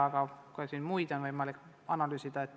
Aga on ka muid hindamisi võimalik analüüsida.